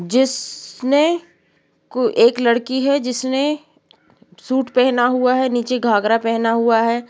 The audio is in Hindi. जिसने एक लड़की है जिसने सूट पहना हुआ है नीचे घागरा पहना हुआ है।